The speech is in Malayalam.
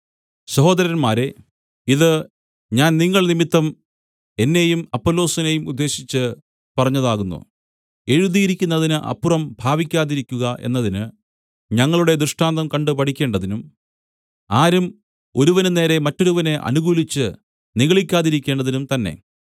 സഹോദരന്മാരേ ഇത് ഞാൻ നിങ്ങൾ നിമിത്തം എന്നെയും അപ്പൊല്ലോസിനെയും ഉദ്ദേശിച്ച് പറഞ്ഞതാകുന്നു എഴുതിയിരിക്കുന്നതിന് അപ്പുറം ഭാവിക്കാതിരിക്കുക എന്നതിന് ഞങ്ങളുടെ ദൃഷ്ടാന്തം കണ്ടു പഠിക്കേണ്ടതിനും ആരും ഒരുവന് നേരെ മറ്റൊരുവനെ അനുകൂലിച്ച് നിഗളിക്കാതിരിക്കേണ്ടതിനും തന്നെ